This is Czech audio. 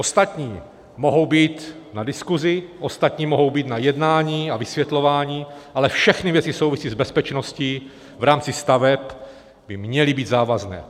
Ostatní mohou být na diskusi, ostatní mohou být na jednání a vysvětlování, ale všechny věci související s bezpečností v rámci staveb by měly být závazné.